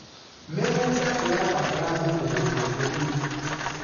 mĩgũnda irabatara thumu mũũkĩnyanĩru